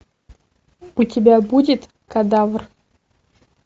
у тебя будет кадавр